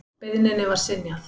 Beiðninni var synjað.